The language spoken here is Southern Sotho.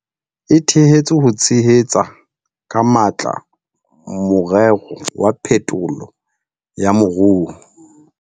E thehetswe ho tshehetsa ka matla morero wa phetolo ya moruo.